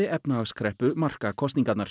efnahagskreppu marka kosningarnar